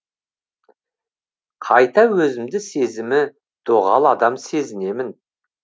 қайта өзімді сезімі доғал адам сезінемін